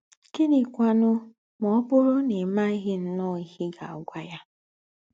Gị̀nị́kwànù mà ọ̀ bụ́rù ná í mághì ǹnọ́ọ̀ íhe í gá-ágwà ya?